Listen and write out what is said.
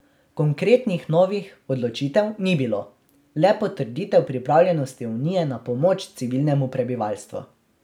Konkretnih novih odločitev ni bilo, le potrditev pripravljenosti unije na pomoč civilnemu prebivalstvu.